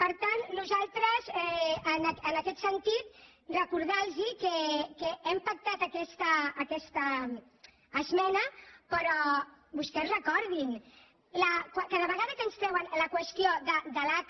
per tant nosaltres en aquest sentit recordar los que hem pactat aquesta esmena però vostès recordin cada vegada que ens treuen la qüestió de l’aca